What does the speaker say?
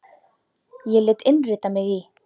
Ég lét innrita mig í